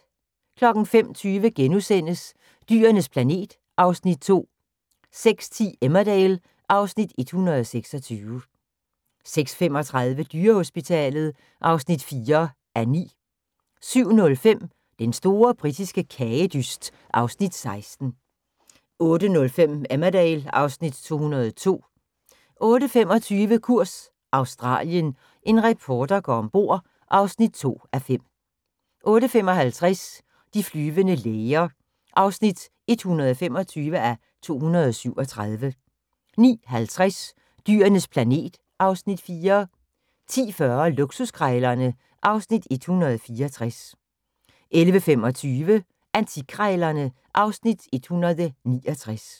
05:20: Dyrenes planet (Afs. 2)* 06:10: Emmerdale (Afs. 126) 06:35: Dyrehospitalet (4:9) 07:05: Den store britiske kagedyst (Afs. 16) 08:05: Emmerdale (Afs. 202) 08:25: Kurs Australien – en reporter går ombord (2:5) 08:55: De flyvende læger (125:237) 09:50: Dyrenes planet (Afs. 4) 10:40: Luksuskrejlerne (Afs. 164) 11:25: Antikkrejlerne (Afs. 169)